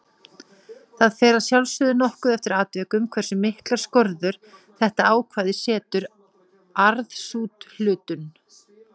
Auðvitað finnst henni mér að kenna hvernig komið er, sagði ég.